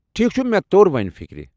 ٹھیکھ چُھ مےٚ توٚر وۄنۍ فکرِ۔